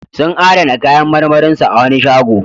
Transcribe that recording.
Sun adana kayan marmarin su a wani shago.